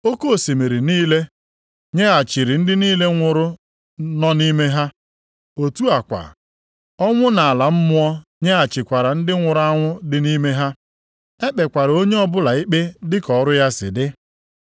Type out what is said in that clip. Oke osimiri niile nyeghachiri ndị niile nwụrụ nọ nʼime ha. Otu a kwa, ọnwụ na ala mmụọ nyeghachikwara ndị nwụrụ anwụ dị nʼime ha. E kpekwara onye ọbụla ikpe dịka ọrụ ya si dị.